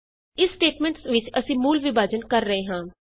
ਇਸ ਸਟੇਟਮੈਂਟਸ ਵਿਚ ਅਸੀਂ ਮੂਲ ਵਿਭਾਜਨ ਕਰ ਰਹੇ ਹਾਂ